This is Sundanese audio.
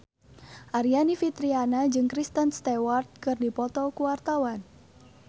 Aryani Fitriana jeung Kristen Stewart keur dipoto ku wartawan